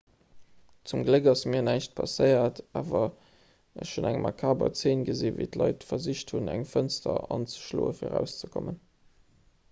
zum gléck ass mir näischt passéiert awer ech hunn eng makaber zeen gesinn wéi d'leit versicht hunn eng fënster anzeschloe fir erauszekommen